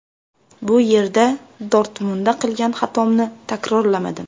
Bu yerda Dortmundda qilgan xatomni takrorlamadim.